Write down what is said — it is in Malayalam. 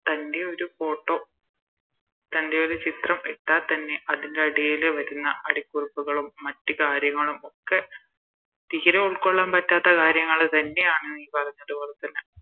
തൻറെ ഒരു Photo തൻറെ ഒരു ചിത്രം ഇട്ടാൽ തന്നെ അതിൻറെ അടിയില് വരുന്ന അടിക്കുറുപ്പുകളും മറ്റ് കാര്യങ്ങളും ഒക്കെ തീരെ ഉൾക്കൊള്ളാൻ പറ്റാത്ത കാര്യങ്ങള് തന്നെയാണ് നീ പറഞ്ഞത് പോലെ തന്നെ